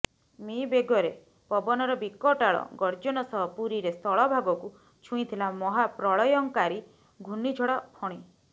ମି ବେଗରେ ପବନର ବିକଟାଳ ଗର୍ଜନ ସହ ପୁରୀରେ ସ୍ଥଳ ଭାଗକୁ ଛୁଇଁଥିଲା ମହା ପ୍ରଳୟଙ୍କାରୀ ଘୂର୍ଣ୍ଣିଝଡ଼ ଫଣୀ